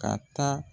Ka taa